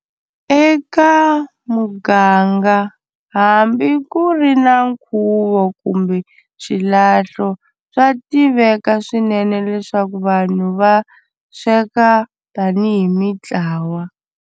Eka muganga hambi ku ri na nkhuvo kumbe xilahlo swa tiveka swinene leswaku vanhu va sweka tani hi mitlawa.